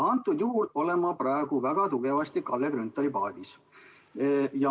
Antud juhul olen ma praegu väga tugevasti Kalle Grünthali paadis.